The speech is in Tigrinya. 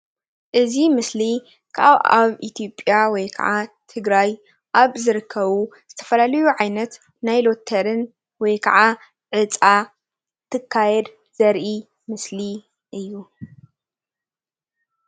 እዚ ምስሊ ካብ ኣብ ኢትዮጵያ ወይ ከዓ ትግራይ ኣብ ዝርከቡ ዝተፈላለዩ ዓይነት ናይ ሎቶሪን ወይ ከዓ ዕፃ እንትካየድ ዘርኢ ምስሊ እዩ፡፡